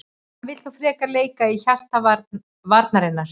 Hann vill þó frekar leika í hjarta varnarinnar.